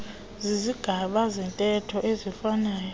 zizigaba zentetho eziifanayo